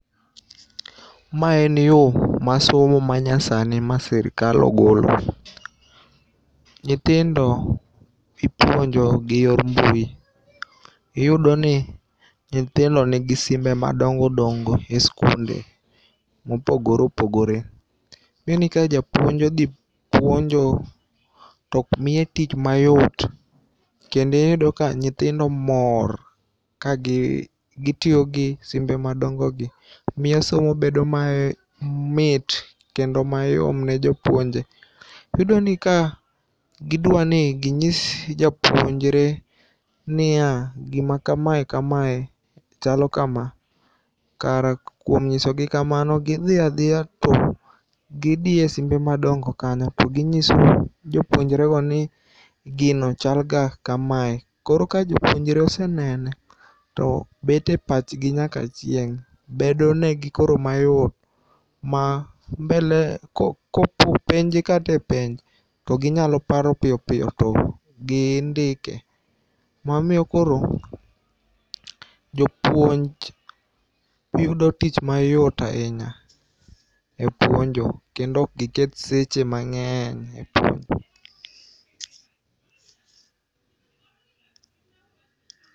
Ma en yo mar somo ma nyasani ma sirkal ogolo. Nyithindo ipuonjo giyor mbui. Iyudo ni nyithindo nigi simbe madongo dongo e skunde mopogore opogore. Iyudo ni ka japuonj odhi puonjo to miye tich mayot kendo iyudo ka nyithindo mor kagitiyo gi simbe madongo gi. Miyo somo bedo mamit kendo mayom ne jopuonje. Bedo ni ka gidwa ni ginyis japuonjre niya gima kamae kamae chalo kama kare kuom nyisogi kamano gidhi adhiya to gidiye simbe madongo kanyo to ginyiso jopuonjre go ni gino chalga kamae. Koro ka jopuonjre osenene to bet e pach gi nyaka chieng'. Bedo negi koro mayot ma mbele kopo openje kata e penj to ginyalo paro piyo piyo to gindike. Mamiyo koro jopuonj yudo tich mayot ahinya e puonjo kendo ok giketh seche mang'eny e puonjo.